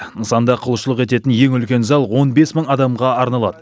нысанда құлшылық ететін ең үлкен зал он бес мың адамға арналады